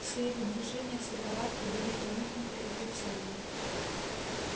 все его движения все повадки были проникнуты этой целью